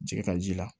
Jɛgɛta ji la